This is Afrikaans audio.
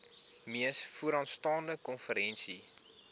mees vooraanstaande konferensie